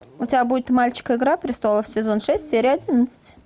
у тебя будет мальчик игра престолов сезон шесть серия одиннадцать